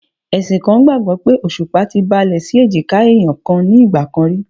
Ẹ̀sìn kan gbàgbó pé Òṣùpá ti balẹ̀ sí èjìká ẹ̀yàn kan ní ìgbà kan rí.